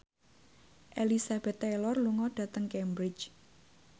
Elizabeth Taylor lunga dhateng Cambridge